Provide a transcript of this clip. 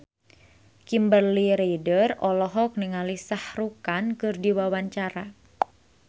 Kimberly Ryder olohok ningali Shah Rukh Khan keur diwawancara